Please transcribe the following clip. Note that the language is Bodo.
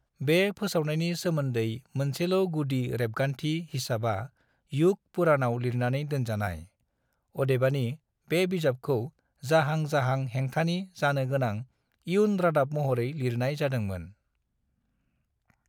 बे फोसावनायनि सोमोनदै मोनसेल' गुदि रेबगान्थि हिसाबा युग पुराणाव लिरनानै दोनजानाय। अदेबानि, बे बिजाबखौ जाहां जाहां हेंथानि जानो गोनां इयुन रादाब महरै लिरनाय जादों मोन।